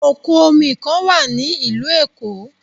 Òkun omi kan wà ní ìlú Èkó.